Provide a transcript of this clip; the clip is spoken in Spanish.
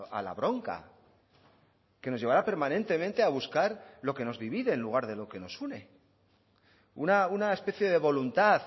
a la bronca que nos llevará permanentemente a buscar lo que nos divide en lugar de lo que nos une una especie de voluntad